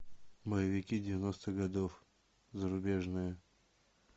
боевики девяностых годов зарубежные